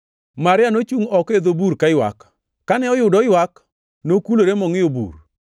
Maria nochungʼ oko e dho bur kaywak. Kane oyudo oywak, nokulore mongʼiyo i bur,